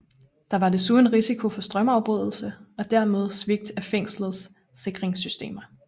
Der var desuden risiko for strømafbrydelse og dermed svigt af fængslets sikringssystemer